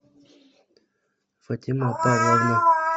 фатима павловна